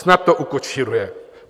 Snad to ukočíruje.